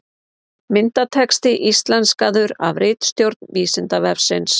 Myndatexti íslenskaður af ritstjórn Vísindavefsins.